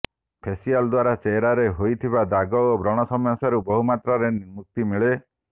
facial ଦ୍ୱାରା ଚେହେରାରେ ହୋଇଥିବା ଦାଗ ଓ ବ୍ରଣ ସମସ୍ୟାରୁ ବହୁ ମାତ୍ରାରେ ମୁକ୍ତି ମିଳେ